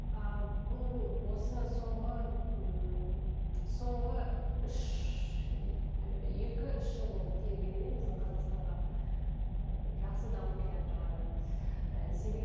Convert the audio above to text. ы бұл осы соңғы ммм соңғы үш ы екі үш жыл болды келгеніне біздің қазақстанға ыыы жақсы дамып келатырғанына ы